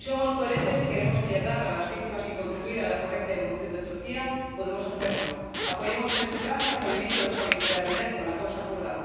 Si somos coherentes y queremos ayudar a las víctimas y contribuir a la correcta evolución de Turquía, podemos hacerlo apoyemos en este trance al movimiento de solidaridad con la causa kurda.